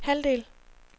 halvdel